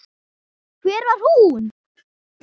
Hver var hún?